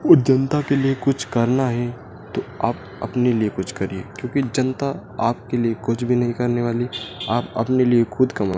और जनता के लिए कुछ करना है तो आप अपने लिए कुछ करिए क्योंकि जनता आपके लिए कुछ भी नहीं करने वाली आप अपने लिए खुद कमाओ।